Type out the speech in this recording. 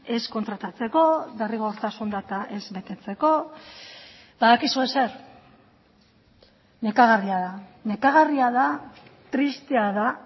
ez kontratatzeko derrigortasun data ez betetzeko badakizue zer nekagarria da nekagarria da tristea da